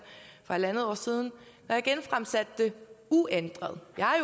for en en halv år siden uændret jeg